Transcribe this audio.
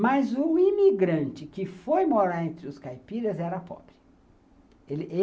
Mas o imigrante que foi morar entre os caipiras era pobre.